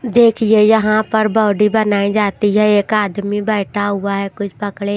देखिए यहां पर बॉडी बनाई जाती है एक आदमी बैठा हुआ है कुछ पकड़े--